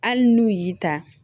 Hali n'u y'i ta